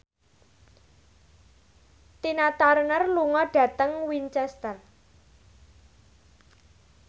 Tina Turner lunga dhateng Winchester